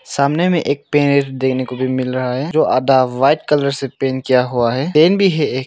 सामने में एक पेड़ देखने को भी मिल रहा हैं जो आधा वाइट कलर पेंट किया हुआ हैं टेंट भी हैं एक।